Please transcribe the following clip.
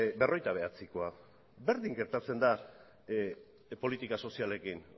berrogeita bederatzikoa berdin gertatzen da politika sozialekin